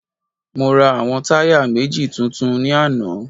Mo ra àwọn táyà méjì tuntun ní àná